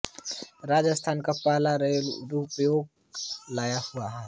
राजस्थान का पहला रोपवे यहा लगा हुआ है